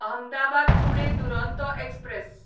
Ahmedabad Pune Duronto express